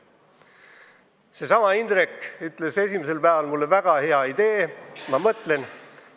Seesama Indrek ütles mulle esimesel päeval, et väga hea idee, ta mõtleb.